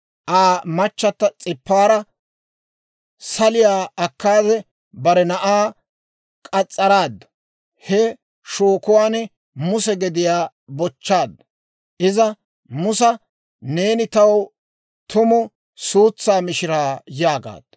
Aa machatta S'ipaara saliyaa akkaade, bare na'aa k'as's'araaddu. He shookuwaan Muse gediyaa bochchaaddu. Iza Musa, «Neeni taw tumu suutsaa mishiraa» yaagaaddu.